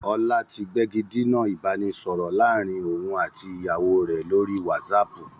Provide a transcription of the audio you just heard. Ọlá tí gbégidinà ìbánisọọ̀rọ̀ láàrín òun àti ìyàwó rẹ lórí whatsapp.